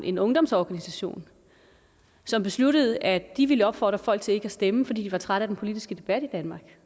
en ungdomsorganisation som besluttede at de ville opfordre folk til ikke at stemme fordi de var trætte af den politiske debat i danmark